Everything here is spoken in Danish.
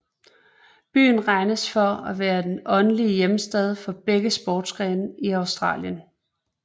Byen regnes for at være det åndelige hjemsted for begge sportsgrene i Australien